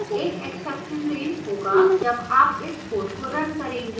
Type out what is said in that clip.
एक exception raise होगा जब आप इस code को an करेंगे